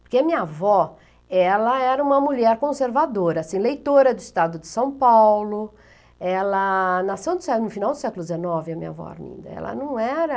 Porque minha avó, ela era uma mulher conservadora, assim, leitora do estado de São Paulo, ela nasceu no século, no final do século dezenove, a minha avó Arminda, ela não era...